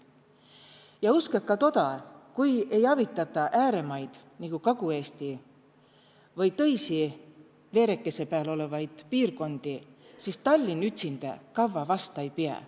Ja uskõ ka toda, kui ei avitata ääremaid nigu Kagu-Eesti või tõisi veerekese pääl olevaid piirkondi, siis Tallinn ütsindä kavva vasta ei piä.